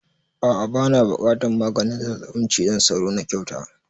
A'a bana buƙatan maganin zazzabin cizon sauro na kyauta